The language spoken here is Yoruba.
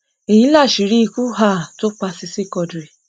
èyí láṣìírí ikú um tó pa sisi quadri